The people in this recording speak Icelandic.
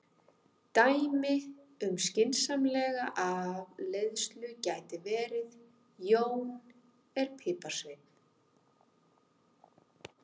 Dæmi um skynsamlega afleiðslu gæti verið: Jón er piparsveinn.